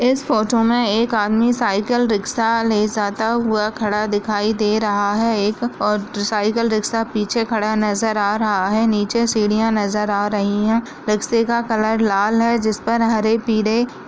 इस फोटो में एक आदमी साइकिल रिक्शा ले जाता हुआ खड़ा दिखाई दे रहा है एक और साइकिल रिक्शा पीछे खड़ा नजर आ रहा है नीचे सीढ़ियां नजर आ रही है रिक्शे का कलर लाल है जिस पर हरे पीले--